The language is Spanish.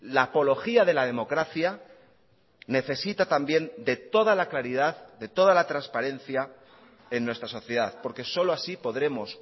la apología de la democracia necesita también de toda la claridad de toda la transparencia en nuestra sociedad porque solo así podremos